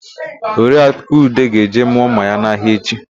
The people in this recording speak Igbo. Oriaku Ude ga-eje mụọ ḿmà ya n'ahịa echi.